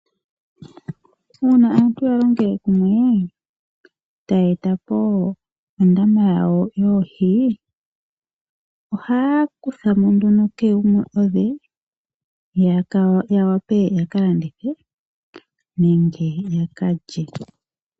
Iuna aantu ya lingele kumwe e ta ye e ta po ondama yawo yoohi, ohaya kutha mo nduno kehe gumwe odhe, ya wape yaka landithe nenge yaka lye.